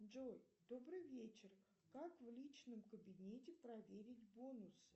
джой добрый вечер как в личном кабинете проверить бонусы